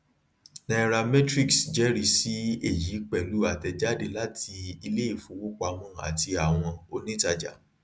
nairametrics jẹrìí sí èyí pẹlú àtẹjáde láti iléìfowópamọ àti àwọn onítàjà